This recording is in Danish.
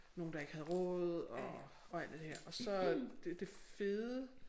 Nogle der ikke havde råd og og alt det her og så det det fede